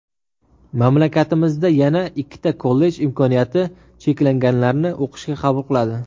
Mamlakatimizda yana ikkita kollej imkoniyati cheklanganlarni o‘qishga qabul qiladi.